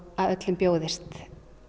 að öllum bjóðist